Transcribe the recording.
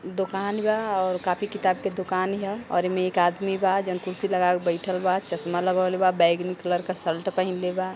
दोकान बा और कॉपी किताब के दोकान ह और एमे एक आदमी बा जोन कुर्सी लगाके बइठल बा। चश्मा लगवले बा। बैंगनी कलर क शर्ट पहीनले बा।